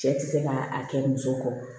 Cɛ ti se ka a kɛ muso kɔ